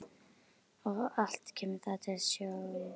Og allt kemur það til af stjórnleysi.